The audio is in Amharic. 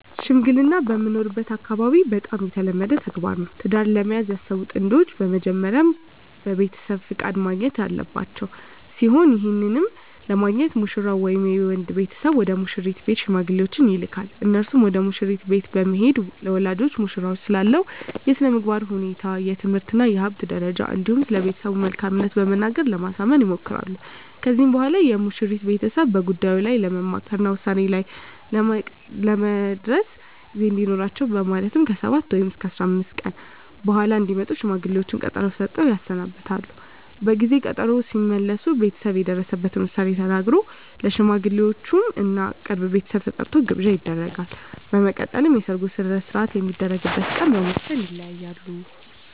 ሽምግልና በምኖርበት አካባቢ በጣም የተለመደ ተግባር ነው። ትዳር ለመያዝ ያሰቡ ጥንዶች በመጀመሪያ ከቤተሰብ ፍቃድ ማግኘት ያለባቸው ሲሆን ይህንንም ለማግኘት ሙሽራው ወይም የወንድ ቤተሰብ ወደ ሙሽሪት ቤት ሽማግሌዎችን ይልካል። እነርሱም ወደ መሽሪት ቤት በመሄድ ለወላጆቿ ሙሽራው ስላለው የስነምግባር ሁኔታ፣ የትምህርት እና የሀብት ደረጃ እንዲሁም ስለቤተሰቡ መልካምት በመናገር ለማሳመን ይሞክራሉ። ከዚህም በኋላ የሙሽሪት ቤተሰብ በጉዳዩ ላይ ለመምከር እና ውሳኔ ላይ ለመድረስ ጊዜ እንዲኖራቸው በማለት ከ7 ወይም 15 ቀን በኃላ እንዲመጡ ሽማግሌዎቹን ቀጠሮ ሰጥተው ያሰናብታሉ። በጊዜ ቀጠሮው ሲመለሱ ቤተሰብ የደረሰበትን ዉሳኔ ተናግሮ፣ ለሽማግሌወቹም እና የቅርብ ቤተሰብ ተጠርቶ ግብዣ ይደረጋል። በመቀጠልም የሰርጉ ሰነሰርአት የሚደረግበት ቀን በመወስን ይለያያሉ።